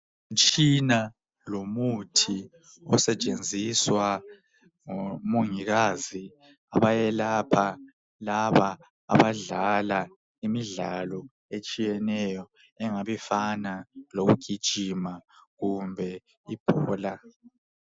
Umtshina lomuthi osetshenziswa ngomongikazi abayelapha laba abadlala imidlalo etshiyeneyo engabe ifana lokugijima kumbe ibhola.